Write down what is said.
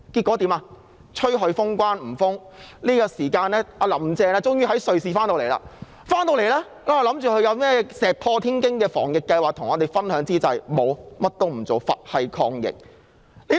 我們要求封關被拒，其後"林鄭"終於從瑞士回港，我們以為她會與大家分享一些石破天驚的防疫計劃，結果她甚麼也不做，"佛系"抗疫。